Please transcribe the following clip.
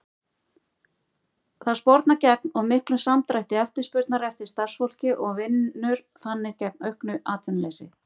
Það spornar gegn of miklum samdrætti eftirspurnar eftir starfsfólki og vinnur þannig gegn auknu atvinnuleysi.